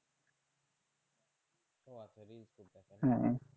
হ্যাঁ